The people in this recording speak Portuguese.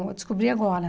Eu descobri agora.